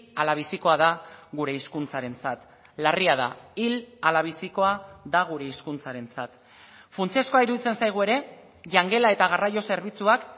ala bizikoa da gure hizkuntzarentzat larria da hil ala bizikoa da gure hizkuntzarentzat funtsezkoa iruditzen zaigu ere jangela eta garraio zerbitzuak